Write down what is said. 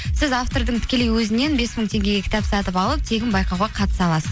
сіз автордың тікелей өзінен бес мың теңгеге кітап сатып алып тегін байқауға қатыса аласыз